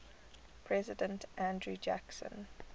president andrew jackson